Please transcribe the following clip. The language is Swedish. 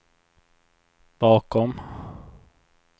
bakom